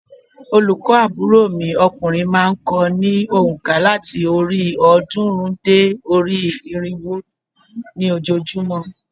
Olùkọ́ àbúrò mi okùnrin má a n ko ní ònkà láti orí òódúnrín dé orí irínwó ní ojoojúmó